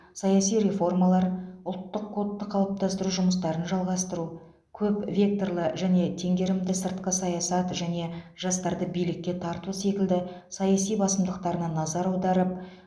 саяси реформалар ұлттық кодты қалыптастыру жұмыстарын жалғастыру көп векторлы және теңгерімді сыртқы саясат және жастарды билікке тарту секілді саяси басымдықтарына назар аударып